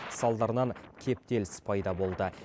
салдарынан кептеліс пайда болды